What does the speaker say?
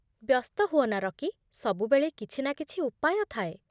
ବ୍ୟସ୍ତ ହୁଅନା, ରକି। ସବୁବେଳେ କିଛି ନା କିଛି ଉପାୟ ଥାଏ।